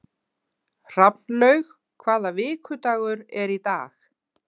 Hrafnlaug, hvaða vikudagur er í dag?